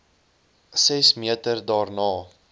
ses meter daarna